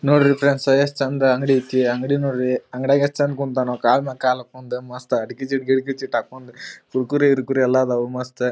ನೋಡ್ರಿ ಫ್ರೆಂಡ್ಸ್ ಅ ಎಸ್ಟ್ ಚಂದ ಅಂಗಡಿ ಐತಿ ಅಂಗಡಿ ನೋಡ್ರಿ. ಅಂಗಡಿಯಾಗ್ ಎಸ್ಟ್ ಚಂದ ಕುಂತನ. ಕಲ್ಮೇಲ್ ಕಾಲ್ ಹಾಕ್ಕೊಂಡ್ ಮಸ್ತ್ ಅಡ್ಕಿ ಚಿಟ್ ಗಿಟ್ ಹಾಕೊಂಡ್ ಕುರ್ಕ್ಕುರೆ ಗಿರಿಕುರೆ ಎಲ್ಲ ಆದವು ಮಸ್ತ್--